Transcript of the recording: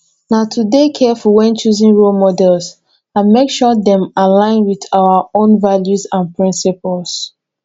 na to dey careful when choosing role models and make sure dem align with our own values and principles